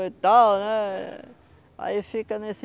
E tal né? Aí fica nesse...